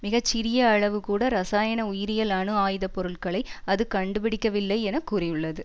மிக சிறிய அளவு கூட இராசயன உயிரியல் அணு ஆயுதப்பொருட்களை அது கண்டுபிடிக்கவில்லை என கூறியுள்ளது